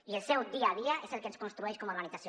i el seu dia a dia és el que ens construeix com a organització